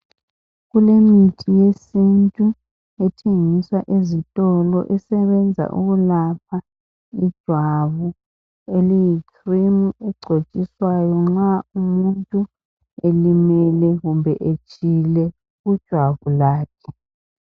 Kulemithi yesintu ethengiswa ezitolo esebenza ukulapha ijwabu eliyikhirimu egcotshiswayo nxa umuntu elimele kumbe etshile kujwabu lakhe.